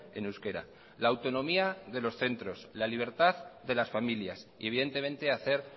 en euskera la autonomía de los centros la libertad de las familias y evidentemente hacer